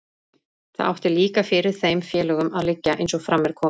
Það átti líka fyrir þeim félögunum að liggja, eins og fram er komið.